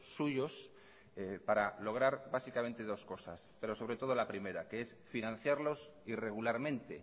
suyos para lograr básicamente dos cosas pero sobre todo la primera que es financiarlos irregularmente